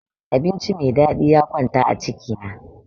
Abinci me dadi ya kwanta a ciki na.